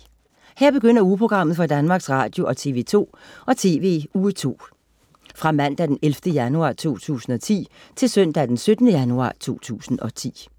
Her begynder ugeprogrammet for Danmarks Radio- og TV og TV2 Uge 2 Fra Mandag den 11. januar 2010 Til Søndag den 17. januar 2010